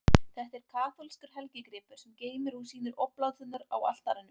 Þetta er kaþólskur helgigripur, sem geymir og sýnir obláturnar á altarinu.